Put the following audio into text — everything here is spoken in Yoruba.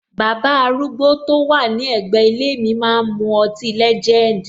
Baba arúgbó to wà ní ègbé ilé mi máa ń mu ọtí legend.